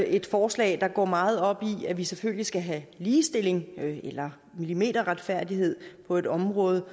et forslag der går meget op i at vi selvfølgelig skal have ligestilling eller millimeterretfærdighed på et område